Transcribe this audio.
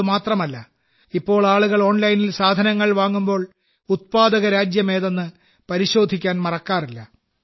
ഇത് മാത്രമല്ല ഇപ്പോൾ ആളുകൾ ഓൺലൈനിൽ സാധനങ്ങൾ വാങ്ങുമ്പോൾ ഉത്പാദകരാജ്യം ഏതെന്ന് പരിശോധിക്കാൻ മറക്കാറില്ല